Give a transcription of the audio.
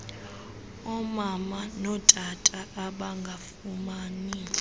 omama notata abangafumani